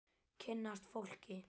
Kynnast fólki.